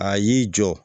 A y'i jɔ